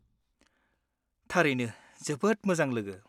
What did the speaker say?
-थारैनो जोबोद मोजां लोगो !